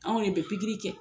Anw de bɛ pkiri kɛ